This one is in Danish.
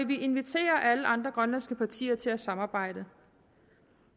vi inviterer alle andre grønlandske partier til at samarbejde